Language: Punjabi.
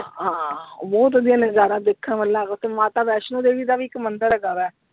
ਹਾਂ, ਬਹੁਤ ਵਧੀਆ ਨਜਾਰਾ ਦੇਖਣ ਵਾਲਾ ਹੈਗਾ ਓਥੇ ਮਾਤਾ ਵੈਸ਼ਨੋ ਦੇਵੀ ਦਾ ਵੀ ਇੱਕ ਮੰਦਿਰ ਹੈਗਾ ਵਾ।